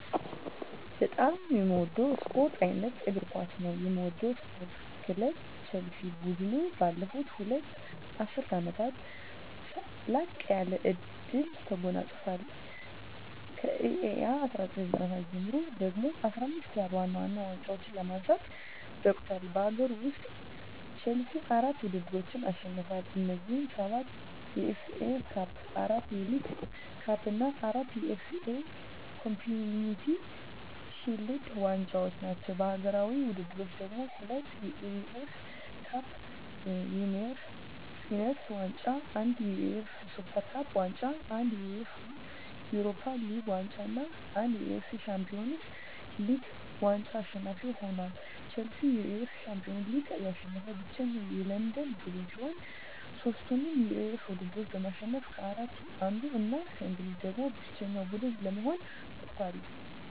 በጣም ምወደው ስፓርት አይነት እግር ኳስ ነው። ምደግፈው ስፓርት ክለብ ቸልሲ። ቡድኑ ባለፉት ሁለት ዐሥርት ዓመታት ላቅ ያለ ድል ተጎናጽፏል። ከእ.ኤ.አ 1997 ጀምሮ ደግሞ 15 ያህል ዋና ዋና ዋንጫዎችን ለማንሳት በቅቷል። በአገር ውስጥ፣ ቼልሲ አራት ውድድሮችን አሸንፏል። እነዚህም፤ ሰባት የኤፍ ኤ ካፕ፣ አራት የሊግ ካፕ እና አራት የኤፍ ኤ ኮምዩኒቲ ሺልድ ዋንጫዎች ናቸው። በአህጉራዊ ውድድሮች ደግሞ፤ ሁለት የዩኤፋ ካፕ ዊነርስ ዋንጫ፣ አንድ የዩኤፋ ሱፐር ካፕ ዋንጫ፣ አንድ የዩኤፋ ዩሮፓ ሊግ ዋንጫ እና አንድ የዩኤፋ ሻምፒዮንስ ሊግ ዋንጫ አሸናፊ ሆኖአል። ቼልሲ የዩኤፋ ሻምፒዮንስ ሊግን ያሸነፈ ብቸኛው የለንደን ቡድን ሲሆን፣ ሦስቱንም የዩኤፋ ውድድሮች በማሸነፍ ከአራቱ አንዱ እና ከእንግሊዝ ደግሞ ብቸኛው ቡድን ለመሆን በቅቷል።